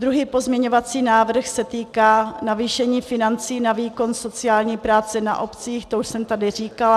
Druhý pozměňovací návrh se týká navýšení financí na výkon sociální práce na obcích, to už jsem tady říkala.